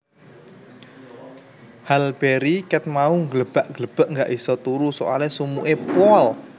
Halle Berry ket mau glebak glebek gak iso turu soale sumuk e pol